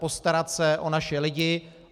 Postarat se o naše lidi.